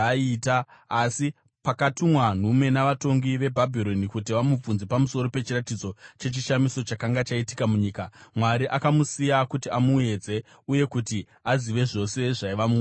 Asi pakatumwa nhume navatongi veBhabhironi kuti vamubvunze pamusoro pechiratidzo chechishamiso chakanga chaitika munyika, Mwari akamusiya kuti amuedze uye kuti azive zvose zvaiva mumwoyo make.